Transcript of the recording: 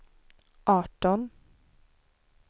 arton